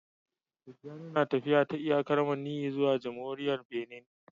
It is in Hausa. Tijjani na tafiya ta iyakar maniyyi zuwa jamhuriyar Benin